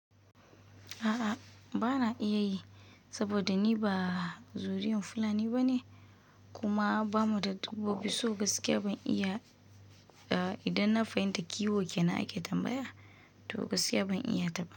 A'a, bana iya yi, saboda ni ba zuriyan Fulani bane, kuma ba mu da dabbobi, so gaskiya ban iya idan na fahimta kiwo kena ake tambaya? To gaskiya ban iya ba.